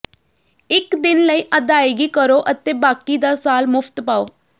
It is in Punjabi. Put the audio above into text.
ਇਕ ਦਿਨ ਲਈ ਅਦਾਇਗੀ ਕਰੋ ਅਤੇ ਬਾਕੀ ਦਾ ਸਾਲ ਮੁਫ਼ਤ ਪਾਓ